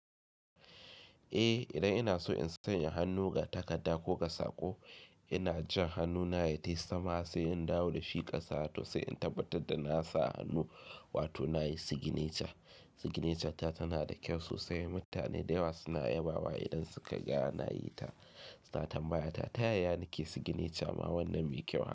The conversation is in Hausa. Eh idan ina so in sanya hannu ga takarda ko ga sako, ina jan hannuna ya je sama sai in dawo da shi ƙasa to sai in tabbatar da na sa hannu wato na yi sigineca. Sigineca ta tana da kyau sosai. Mutane da yawa suna yabawa idan suka ga na yi ta. Su na tambaya ta yaya nike sigineca ma wannan me kyau?